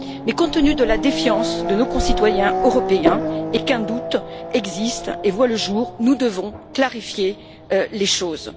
Mais compte tenu de la défiance de nos concitoyens européens et étant donné qu'un doute existe et voit le jour, nous devons clarifier les choses.